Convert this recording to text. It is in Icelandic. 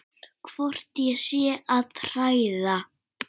Hvort ég sé að hræða.